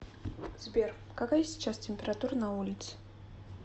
сбер какая сейчас температура на улице